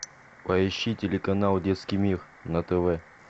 поищи телеканал детский мир на тв